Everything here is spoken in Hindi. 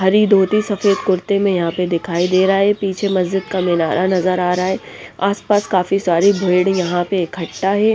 हरी धोती सफेद कुर्ते में यहां पे दिखाई दे रहा है पीछे मस्जिद का मिनारा नजर आ रहा है आसपास काफी सारी भीड़ यहां पे इकट्ठा है।